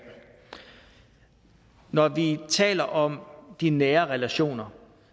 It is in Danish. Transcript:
når vi taler om de nære relationer